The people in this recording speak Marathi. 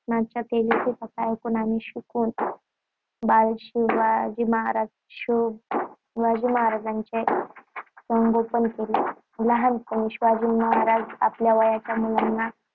आत्म्यांच्या तेजस्वी कथा ऐकून आणि शिकवून बाल शिवाचे संगोपन केले. लहानपणी शिवाजी आपल्या वयाच्या मुलांना